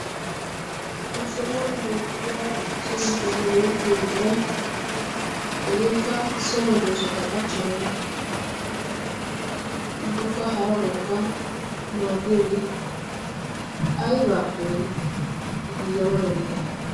Ha sohuwan beettiya so giddon go7ettiyo buquray hegeekka so medoosata qachchanawu ubbakka harabawukka maaddiyaagee aybbaappe giigana danddayii?